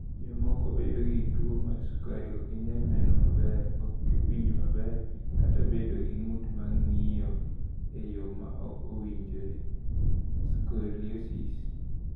"Jomoko bedo gi tuwo mar sukari, ok ginyal neno maber, ok winj maber, kata bedo gi ng’ut ma ng’injo e yo ma ok owinjore (scoliosis)."